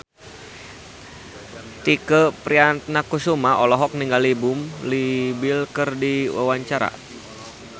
Tike Priatnakusuma olohok ningali Leo Bill keur diwawancara